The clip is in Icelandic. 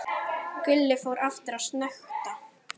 Gulli fór aftur að snökta.